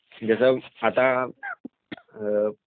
जसं आता